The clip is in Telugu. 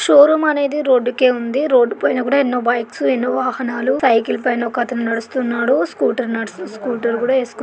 షోరూమ్ అనేది రోడ్డుకే ఉంది. రోడ్డు పైన కూడా ఎన్నో బైక్స్ ఎన్నో వాహనాలు సైకిల్ పైన ఒక అతను నడుస్తున్నాడు. స్కూటర్ --నడుస్ స్కూటర్ కూడా ఏసు--